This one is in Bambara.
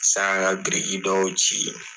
ka biriki dɔw jigi.